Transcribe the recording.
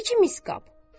Bir-iki mis qab.